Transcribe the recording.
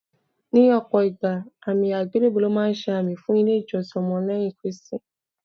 Ní ọ̀pọ̀ ìgbà, àmì àgbélébùú lọ́ máa ń ṣe àmì fún ilé ìjọsìn ọmọ lẹ́yìn Kristi.